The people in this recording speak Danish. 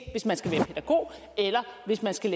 hvis man skal